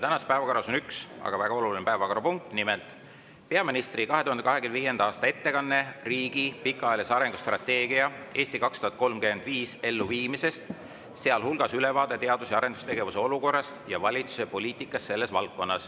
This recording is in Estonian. Tänases päevakorras on üks, aga väga oluline päevakorrapunkt, nimelt peaministri 2025. aasta ettekanne riigi pikaajalise arengustrateegia "Eesti 2035" elluviimisest .